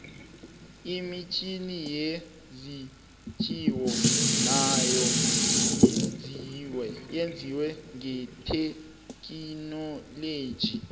imitjhini yezinjiwa nayo yenziwe ngethekhinoiloji